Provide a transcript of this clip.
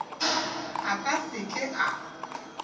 a ka se ke a